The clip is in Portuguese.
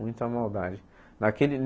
Muita maldade. Naquele